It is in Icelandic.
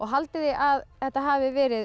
haldið þið að þetta hafi verið